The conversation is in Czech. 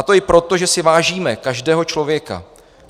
A to i proto, že si vážíme každého člověka.